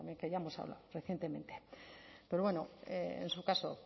que bueno también que ya hemos hablado recientemente pero bueno en su caso